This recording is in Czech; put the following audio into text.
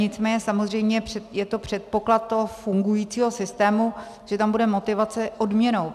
Nicméně samozřejmě je to předpoklad toho fungujícího systému, že tam bude motivace odměnou.